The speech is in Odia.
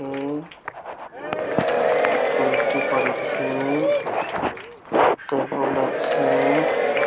ଏ ଟ୍ରୋଫି ପଡିଛି ଟେବୁଲ୍ ଅଛି।